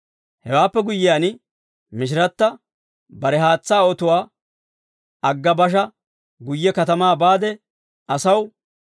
Hewaappe guyyiyaan, Mishiratta bare haatsaa otuwaa agga basha guyye katamaa baade asaw,